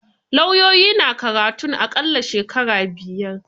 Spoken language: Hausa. Lauyoyi na karatun a ƙalla shekara biyar.